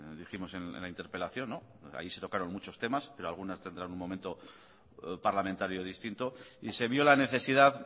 dijimos en la interpelación ahí se tocaron muchos temas pero algunas tendrán un momento parlamentario distinto y se vio la necesidad